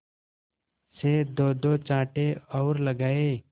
से दोदो चांटे और लगाए